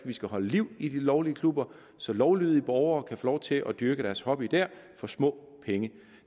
vi skal holde liv i de lovlige klubber så lovlydige borgere kan få lov til at dyrke deres hobby der for små penge